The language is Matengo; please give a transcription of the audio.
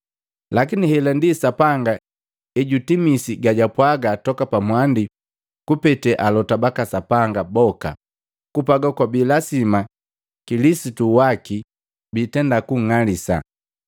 Lakini hela ndi Sapanga ejutimisi gajapwaga toka mwandi kupetee Alota baka Sapanga boka, kupwaga kwabii lasima Kilisitu waki biitenda kunng'alisa.